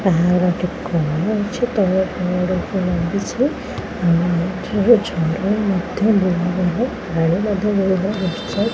ଏହାର ଗୋଟେ କୋଣ ଅଛି। ତଳେ କ'ଣ ଗୋଟେ ଓପରେ ଲାଗିଛି। ଆଉ ଏଇଠି ଝରଣା ମଧ୍ୟ ବୋହି ବୋହି ପାଣି ମଧ୍ୟ ବୋହି ବୋହି ଆସୁଚି।